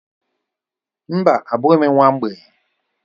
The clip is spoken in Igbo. Mba, abụghị m nwa mgbei.